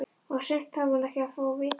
Og sumt þarf hún ekkert að fá að vita.